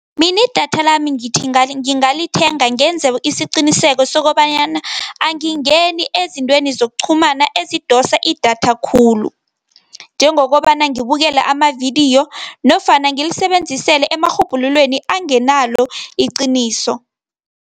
Mina idatha lami ngithi ngingalithenga ngenze isiqiniseko sokobanyana angingeni ezintweni zokuqhumana ezidosa idatha khulu njengokobana ngibukele amavidiyo nofana ngilisebenzisele emarhubhululweni angenalo iqiniso.